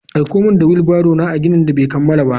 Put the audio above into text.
Aiko min da wheel barrow a ginin da bai kammala ba.